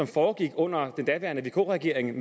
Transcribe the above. foregik under den daværende vk regering